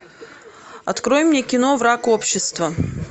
открой мне кино враг общества